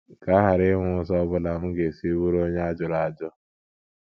“ Ka a ghara inwe ụzọ ọ bụla m ga - esi bụrụ onye a jụrụ ajụ. ”